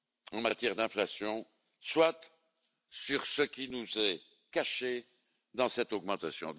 en matière d'inflation, soit sur ce qui nous est caché dans cette augmentation.